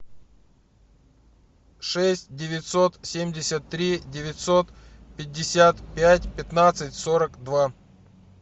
шесть девятьсот семьдесят три девятьсот пятьдесят пять пятнадцать сорок два